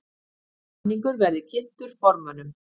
Samningur verði kynntur formönnum